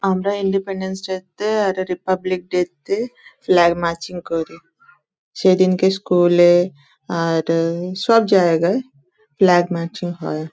আমরা Independence Day -তে আর রিপাবলিক ডে -তে ফ্ল্যাগ মার্চিং করি সেদিনকে স্কুল -এ আর এ সব জায়গায় ফ্ল্যাগ মার্চিং হয়।